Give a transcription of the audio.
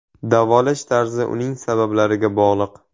Davolash tarzi uning sabablariga bog‘liq.